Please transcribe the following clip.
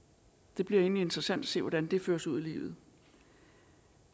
det bliver egentlig interessant at se hvordan det føres ud i livet